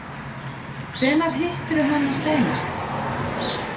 Hvenær hittirðu hana seinast?